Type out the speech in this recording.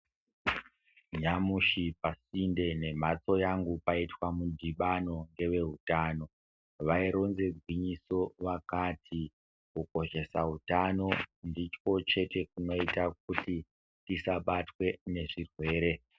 Nyamushi pasinde nemhatso yangu paitwa mudhibano ngezveutano vaironze gwinyiso vakati kukoshesa utano ndiko chete kunoita kuti tisabatwe ngezvirwere.